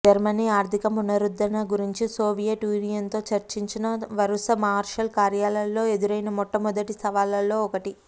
Germany ఆర్ధిక పునరుద్ధరణ గురించి సోవియట్ యూనియన్తో చర్చించిన వరుస మార్షల్ కార్యాలయాలలో ఎదురైన మొట్టమొదటి సవాళ్లలో ఒకటి